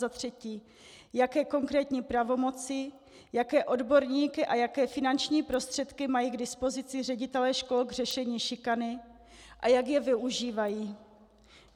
Za třetí, jaké konkrétní pravomoci, jaké odborníky a jaké finanční prostředky mají k dispozici ředitelé škol k řešení šikany a jak je využívají.